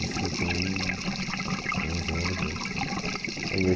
Isso com onze anos, né? Aí eu